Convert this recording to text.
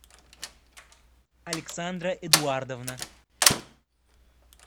александра эдуардовна